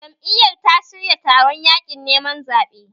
Jam'iyyar ta shirya taron yaƙin neman zaɓe